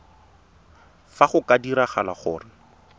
fa go ka diragala gore